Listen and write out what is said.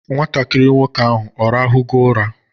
Nwatakiri nwoke ahụ ọ rahụgo ụra?